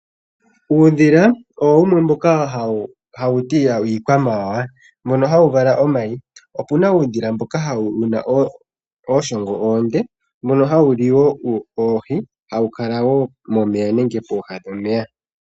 Uudhila owo wumwe mboka hawu tiwa iikwamawawa mono hawu vala omayi. Opuna uudhila mboka wuna ooshongo oonde mbono hawu liwo oohi, hawu kala wo momeya nenge pooha dhomeya.